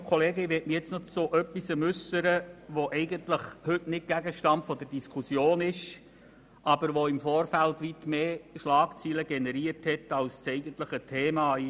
Nun möchte ich mich noch zu etwas äussern, das heute eigentlich nicht Gegenstand der Diskussion ist, das aber im Vorfeld weit mehr Schlagzeilen generiert hat als das eigentliche Thema: